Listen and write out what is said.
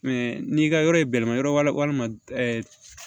n'i ka yɔrɔ ye bɛlɛma yɔrɔ ma ɛ